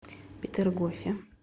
петергофе